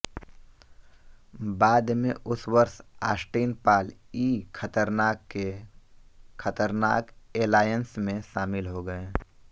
बाद में उस वर्ष ऑस्टिन पॉल ई खतरनाक के खतरनाक एलायंसमें शामिल हो गए